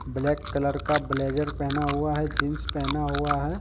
Black colour का blazer पहना हुआ है जीन्स पहना हुआ है।